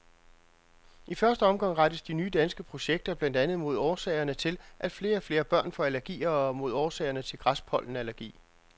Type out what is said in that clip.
I første omgang rettes de nye danske projekter blandt andet mod årsagerne til, at flere og flere børn får allergier og mod årsagerne til græspollenallergi.